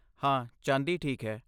ਹਾਂ, ਚਾਂਦੀ ਠੀਕ ਹੈ।